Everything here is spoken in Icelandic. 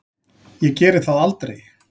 Ég geri það aldrei.